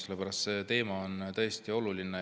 See teema on tõesti oluline.